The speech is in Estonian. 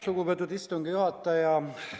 Lugupeetud istungi juhataja!